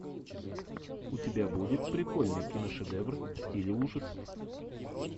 у тебя будет прикольный киношедевр в стиле ужасов